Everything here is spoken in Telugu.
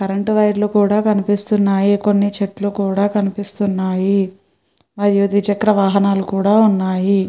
కరెంట్ వైర్ లు కూడా కనిపిస్తున్నాయి కొన్ని చెట్లు కూడా కనిపిస్తున్నాయి ఐదు ద్వి చక్ర వాహనాలు కూడా వున్నాయి.